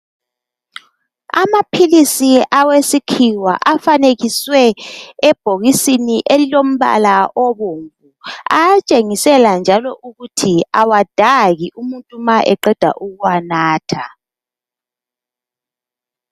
Amaphilisi awesikhiwa afanekiswe ebhokisini elilombala obomvu ayatshengisela njalo ukuthi awadaki umuntu ma eqeda ukuwanatha .